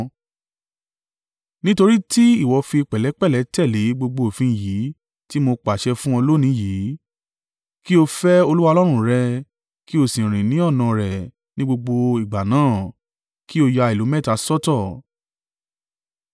nítorí tí ìwọ fi pẹ̀lẹ́pẹ̀lẹ́ tẹ̀lé gbogbo òfin yìí tí mo pàṣẹ fún ọ lónìí yìí, kí o fẹ́ Olúwa Ọlọ́run rẹ, kí o sì rìn ní ọ̀nà an rẹ̀ ní gbogbo ìgbà náà, kí o ya ìlú mẹ́ta sọ́tọ̀.